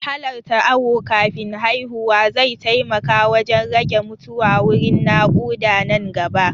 Halarta awo kafin haihuwa zai taimaka wajan rage mutuwa wurin naƙuda nan gaba